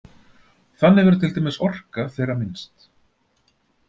Þannig verður til dæmis orka þeirra minnst.